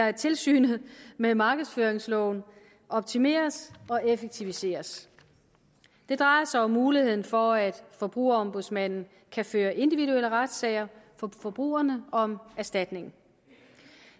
at tilsynet med markedsføringsloven optimeres og effektiviseres det drejer sig om muligheden for at forbrugerombudsmanden kan føre individuelle retssager for forbrugerne om erstatning